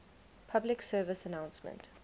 public service announcement